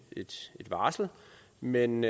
varsel men